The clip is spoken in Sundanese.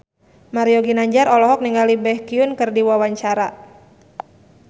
Mario Ginanjar olohok ningali Baekhyun keur diwawancara